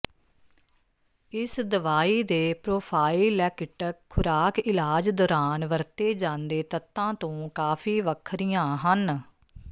ਇਸ ਦਵਾਈ ਦੇ ਪ੍ਰੋਫਾਈਲੈਕਿਟਕ ਖੁਰਾਕ ਇਲਾਜ ਦੌਰਾਨ ਵਰਤੇ ਜਾਂਦੇ ਤੱਤਾਂ ਤੋਂ ਕਾਫ਼ੀ ਵੱਖਰੀਆਂ ਹਨ